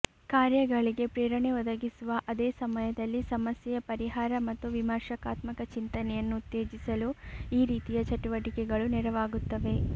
ಕಾರ್ಯಗಳಿಗೆ ಪ್ರೇರಣೆ ಒದಗಿಸುವ ಅದೇ ಸಮಯದಲ್ಲಿ ಸಮಸ್ಯೆಯ ಪರಿಹಾರ ಮತ್ತು ವಿಮರ್ಶಾತ್ಮಕ ಚಿಂತನೆಯನ್ನು ಉತ್ತೇಜಿಸಲು ಈ ರೀತಿಯ ಚಟುವಟಿಕೆಗಳು ನೆರವಾಗುತ್ತವೆ